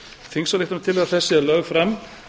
þingsályktunartillaga þessi er lögð fram